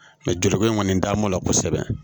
Mɛ juruko in kɔni dam'o la kosɛbɛ